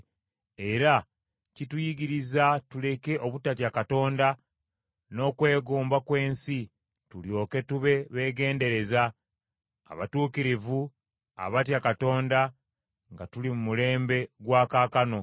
era kituyigiriza tuleke obutatya Katonda, n’okwegomba kw’ensi, tulyoke tube beegendereza, abatuukirivu abatya Katonda nga tuli mu mulembe gwa kaakano;